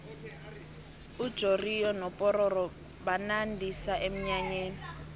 ujoriyo nopororo banandisa emnyanyeni